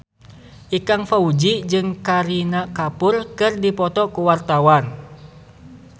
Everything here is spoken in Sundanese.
Ikang Fawzi jeung Kareena Kapoor keur dipoto ku wartawan